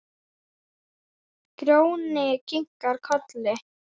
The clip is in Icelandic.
Grjóni kinkar kolli.